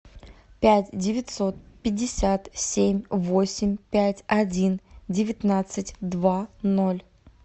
пять девятьсот пятьдесят семь восемь пять один девятнадцать два ноль